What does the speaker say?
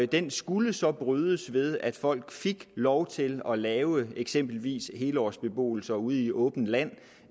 den skulle så brydes ved at folk fik lov til at lave eksempelvis helårsbeboelse ude i åbent land